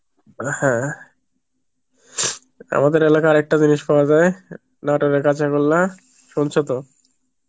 আ হ্যাঁ আমাদের এলাকায় আর একটা জিনিস পাওয়া যায় নাটোরের কাঁচাগোল্লা, শুনছো তো?